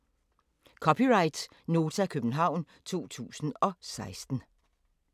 (c) Nota, København 2016